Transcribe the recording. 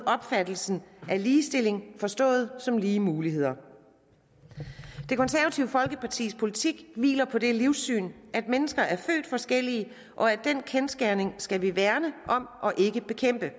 opfattelsen af ligestilling forstået som lige muligheder det konservative folkepartis politik hviler på det livssyn at mennesker er født forskellige og den kendsgerning skal vi værne om og ikke bekæmpe